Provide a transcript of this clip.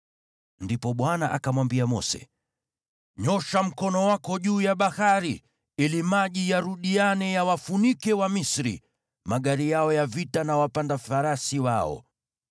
Ndipo Bwana akamwambia Mose, “Nyoosha mkono wako juu ya bahari ili maji yarudiane yawafunike Wamisri, magari yao ya vita na wapanda farasi wao.”